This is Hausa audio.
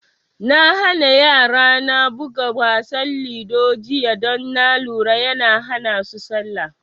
Na hana yara na buga wasa ludo jiya don na lura yana hana su salla